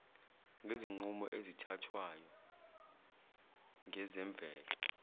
ngezinqumo ezithathwayo ngezemvelo